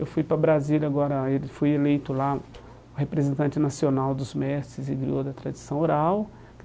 Eu fui para Brasília agora, fui eleito lá o representante nacional dos mestres e griô da tradição oral.